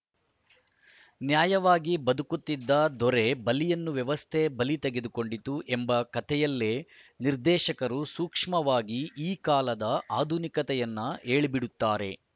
ನ್ಯಾಯವಾಗಿ ಬದುಕುತ್ತಿದ್ದ ದೊರೆ ಬಲಿಯನ್ನು ವ್ಯವಸ್ಥೆ ಬಲಿ ತೆಗೆದುಕೊಂಡಿತು ಎಂಬ ಕತೆಯಲ್ಲೇ ನಿರ್ದೇಶಕರು ಸೂಕ್ಷ್ಮವಾಗಿ ಈ ಕಾಲದ ಆಧುನಿಕ ಕತೆಯನ್ನೂ ಹೇಳಿಬಿಡುತ್ತಾರೆ